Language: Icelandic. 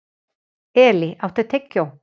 Elí, áttu tyggjó?